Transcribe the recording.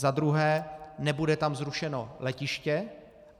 Za druhé, nebude tam zrušeno letiště.